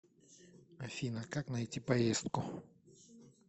афина как найти поездку